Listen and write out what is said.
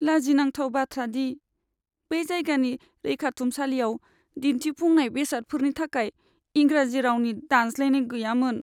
लाजिनांथाव बाथ्रा दि बे जायगानि रैखाथुमसालियाव दिन्थिफुंनाय बेसादफोरनि थाखाय इंराजि रावनि दानस्लायनाय गैयामोन।